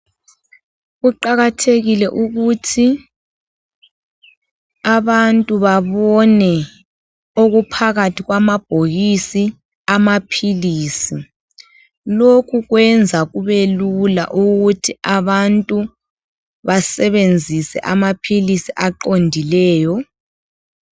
Kuqakathekile ukuthi abantu babone okuphakathi kwamabhokisi amaphilisi ,lokhu kwenza kube lula ukuthi abantu basebenzise amaphilisi aqondileyo.